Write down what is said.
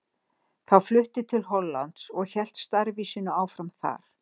Þá flutti til Hollands og hélt starfi sínu áfram þar.